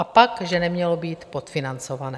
A pak že nemělo být podfinancované!